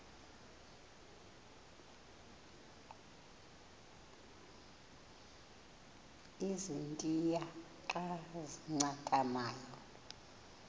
ezintia xa zincathamayo